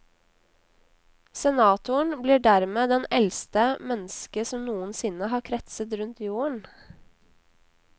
Senatoren blir dermed den eldste menneske som noensinne har kretset rundt jorden.